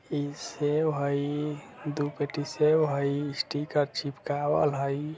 ई सेव हाई दो पेटी सेव हाई स्टिकर चिपकावल हाई।